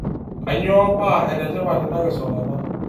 Kanyoo paa ene tipat ina kisulata.